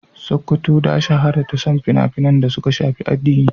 Sokoto ta shahara da son fina-finan da suka shafi addini.